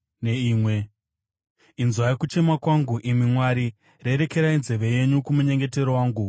Inzwai kuchema kwangu, imi Mwari; rerekerai nzeve yenyu kumunyengetero wangu.